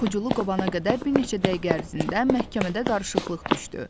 Yuxucunu qovana qədər bir neçə dəqiqə ərzində məhkəmədə qarışıqlıq düşdü.